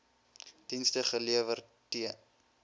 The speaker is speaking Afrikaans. dienste gelewer t